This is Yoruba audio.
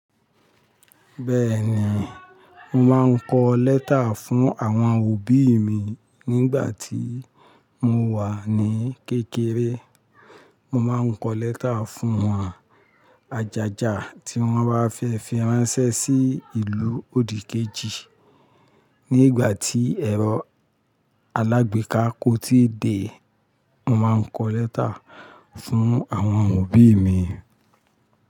Bẹ́ẹ̀ni, mo máa ń kọ lẹ́tà fún àwọn òbí mi nígbà tí mo wà ní kékeré. Mo máa ń kọ lẹ́tà fún wọn àjájà tí wọ́n bá fẹ́ fi ránṣẹ́ sí ìlú òdìkejì. Nígbà tí ẹ̀rọ alágbèéká kò tíì dé, mo máa ń kọ lẹ́tà fún àwọn òbí mi.